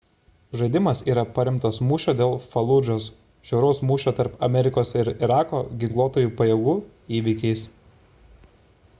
žaidimas yra paremtas mūšio dėl faludžos žiauraus mūšio tarp amerikos ir irako ginkluotųjų pajėgų įvykiais